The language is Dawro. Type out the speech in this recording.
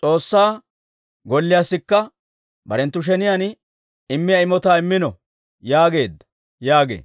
S'oossaa Gollewukka barenttu sheniyaan immiyaa imotaa immino› yaageedda» yaagee.